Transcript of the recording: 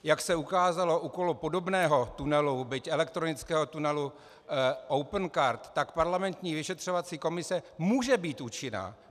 Jak se ukázalo okolo podobného tunelu, byť elektronického tunelu, Opencard, tak parlamentní vyšetřovací komise může být účinná.